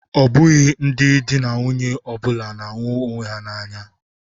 Ọ bụghị di na nwunye ọ bụla na-ahụ onwe ha n'anya.